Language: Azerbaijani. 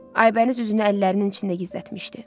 Aybəniz üzünü əllərinin içində gizlətmişdi.